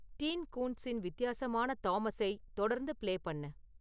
dean கூன்ட்ஸின் வித்தியாசமான தாமஸை தொடர்ந்து பிளே பண்ணு